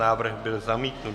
Návrh byl zamítnut.